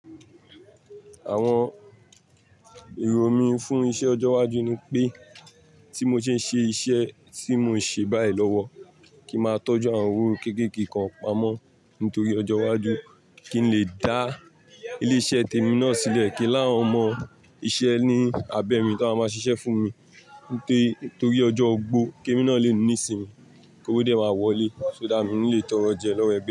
Àwọn èrò mí fún iṣẹ ọjọ iwájú ni pé tí mo ṣe ń ṣe iṣẹ́ tí mò ń ṣe báyìí lọ́wọ́ kí n máa tọ́jú àwọn owó kéékèèké kan pamọ́ nítorí ọjọ́ iwájú kí n lè dá ilé-iṣẹ́ tèmi náà sílẹ̀ kí n láwọn ọmọ iṣẹ́ ní abẹ mi tó máa má ṣiṣẹ́ fún mi nítorí ọjọ́ ogbó kí emi náà le ní ìsinmi, kí ówo dé máa wọlé ṣó that mi n ni lè tọrọ jẹ lọ́wọ́ ẹ̀gbe.